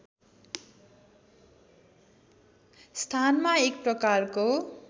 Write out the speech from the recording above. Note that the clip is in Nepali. स्थानमा एक प्रकारको